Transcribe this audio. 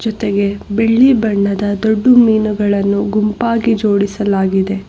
ಜೊತೆಗೆ ಬೀಳ್ಳಿ ಬಣ್ಣದ ದೊಡ್ಡು ಮೀನುಗಳನ್ನು ಗುಂಪಾಗಿ ಜೋಡಿಸಲಾಗಿದೆ.